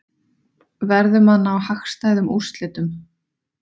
Verðum að ná hagstæðum úrslitum